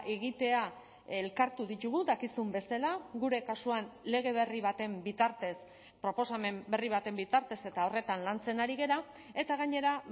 egitea elkartu ditugu dakizun bezala gure kasuan lege berri baten bitartez proposamen berri baten bitartez eta horretan lantzen ari gara eta gainera